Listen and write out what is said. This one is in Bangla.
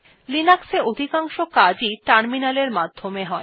লিনাক্স এ অধিকাংশ কাজ ই টার্মিনাল এর মাধ্যমে হয়